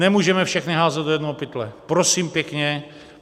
Nemůžeme všechny házet do jednoho pytle, prosím pěkně.